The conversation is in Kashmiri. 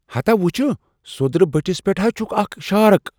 ہتا وٕچھووٗ! سوٚدرٕ بٔٹھس پٮ۪ٹھ ہا چھ اکھ شارک۔